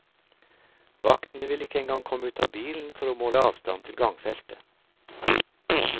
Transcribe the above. Vaktene ville ikke engang komme ut av bilen for å måle avstanden til gangfeltet.